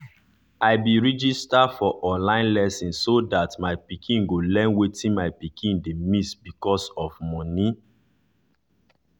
i be register for online lesson so that my pikin go learn wetin my pikin dey miss because of money.